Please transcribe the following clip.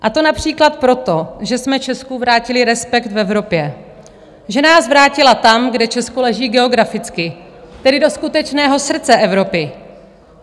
A to například proto, že jsme Česku vrátili respekt v Evropě, že nás vrátila tam, kde Česko leží geograficky, tedy do skutečného srdce Evropy.